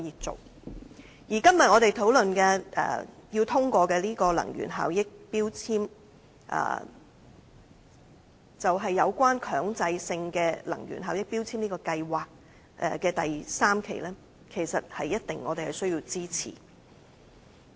至於我們今天討論有關能源標籤的決議案，是強制性能源效益標籤計劃的第三階段，我們必定要支持。